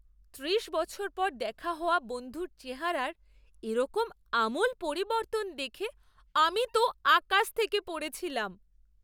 ত্রিশ বছর পর দেখা হওয়া বন্ধুর চেহারার এরকম আমূল পরিবর্তন দেখে আমি তো আকাশ থেকে পড়েছিলাম!